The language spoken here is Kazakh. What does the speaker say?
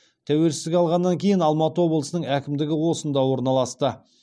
тәуелсіздік алғаннан кейін алматы облысының әкімдігі осында орналасты